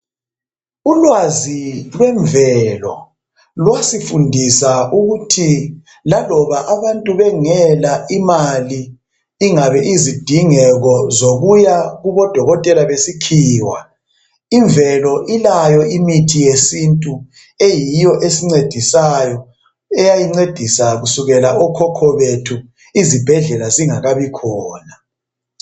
Ulwazi lwemvelo lwasifundisa ukuthi laloba abantu bengela imali ingabe izidingeko zokuya kubodokotela besikhiwa, imvelo ilayo imithi yesintu eyiyo esincedisayo eyayincedisa kusukela okhokho bethu, izibhedlela zingakabi khona.